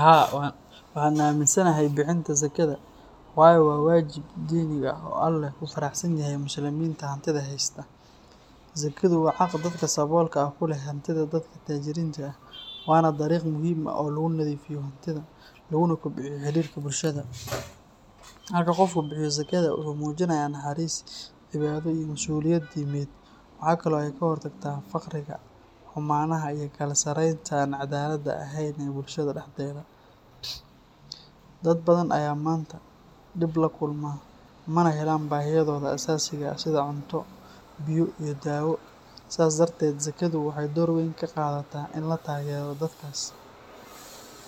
Haa, waxaan aamminsanahay bixinta zakada waayo waa waajib diiniga ah oo Alle ku faray muslimiinta hantida haysta. Zakadu waa xaq dadka saboolka ah ku leh hantida dadka taajiriinta ah, waana dariiq muhiim ah oo lagu nadiifiyo hantida, laguna kobciyo xiriirka bulshada. Marka qofku bixiyo zakada, wuxuu muujinayaa naxariis, cibaado, iyo masuuliyad diimeed. Waxa kale oo ay ka hortagtaa faqriga, xumaanaha, iyo kala sarreynta aan caddaaladda ahayn ee bulshada dhexdeeda. Dad badan ayaa maanta dhib la kulma, mana helaan baahiyahooda aasaasiga ah sida cunto, biyo, iyo daawo, sidaas darteed zakadu waxay door weyn ka qaadataa in la taageero dadkaas.